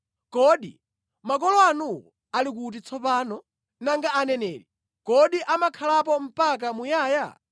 Kodi makolo anuwo ali kuti tsopano? Nanga aneneri, kodi amakhalapo mpaka muyaya?